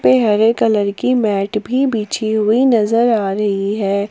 पे हरे कलर की मैट भी बिछी हुई नजर आ रही है।